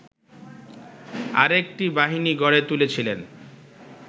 আরেকটি বাহিনী গড়ে তুলেছিলেন